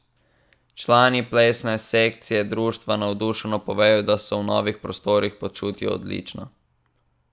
Člani plesne sekcije društva navdušeno povejo, da se v novih prostorih počutijo odlično.